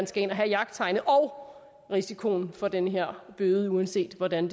skal ind at have jagttegnet og så risikoen for den her bøde uanset hvordan